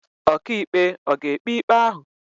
Ọkàikpe ọ̀ ga-ekpe ikpe ahụ?